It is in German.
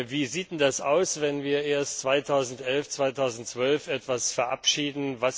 Wie sieht es denn aus, wenn wir erst 2011 oder 2012 etwas verabschieden?